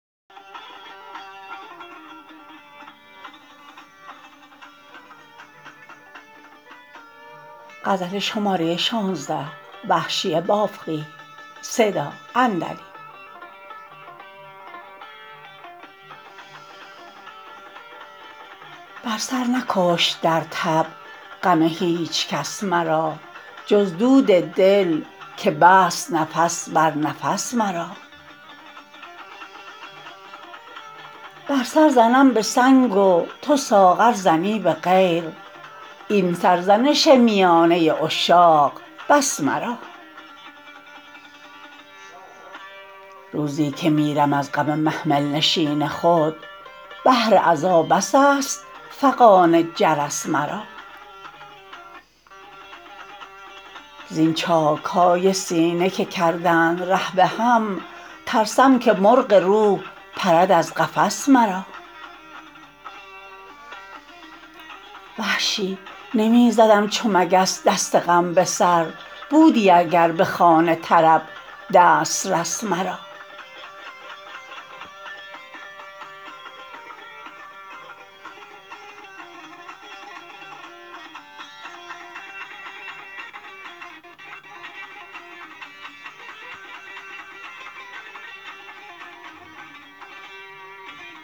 بر سر نکشت درتب غم هیچکس مرا جز دود دل که بست نفس بر نفس مرا من سر زنم به سنگ و تو ساغر زنی به غیر این سرزنش میانه عشاق بس مرا روزی که میرم از غم محمل نشین خود بهر عزا بس است فغان جرس مرا زین چاکهای سینه که کردند ره به هم ترسم که مرغ روح پرد از قفس مرا وحشی نمی زدم چو مگس دست غم به سر بودی اگر به خوان طرب دسترس مرا